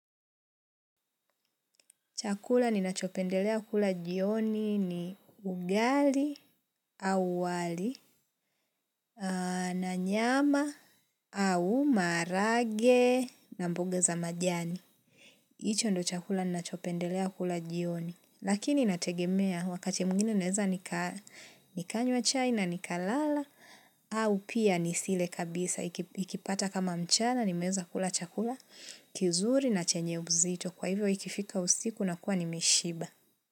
Chakula ninachopendelea kula jioni ni ugali au wali na nyama au maharage na mboga za majani. Hicho ndio chakula ninachopendelea kula jioni. Lakini nategemea wakati mwingine naweza nikanywa chai na nikalala au pia nisile kabisa. Ikipata kama mchana nimeweza kula chakula kizuri na chenye uzito kwa hivyo ikifika usiku na kuwa ni meshiba.